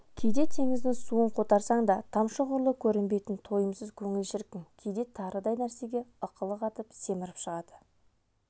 кейде теңіздің суын қотарсаң да тамшы ғұрлы көрінбейтін тойымсыз көңіл шіркін кейде тарыдай нәрсеге ықылық атып семіріп шыға